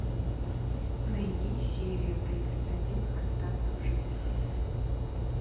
найди серия тридцать один остаться в живых